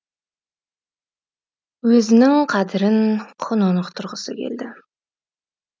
өзінің қадірін құнын ұқтырғысы келді